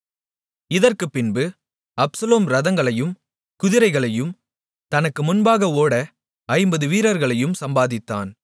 இதற்குப்பின்பு Absalom இரதங்களையும் குதிரைகளையும் தனக்கு முன்பாக ஓட ஐம்பது வீரர்களையும் சம்பாதித்தான்